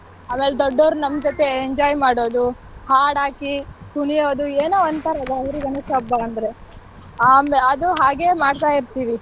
ಆಮೇಲ್ ದೊಡ್ಡವ್ರು ನಮ್ ಜೊತೆ enjoy ಮಾಡೋದು ಹಾಡ್ ಹಾಕಿ ಕುಣಿಯೋದ್ ಏನೋ ಒಂತರ ಗೌರಿ ಗಣೇಶ ಹಬ್ಬ ಅಂದ್ರೆ ಆಮೇಲೆ ಅದು ಹಾಗೆ ಮಾಡ್ತಾ ಇರ್ತೀವಿ.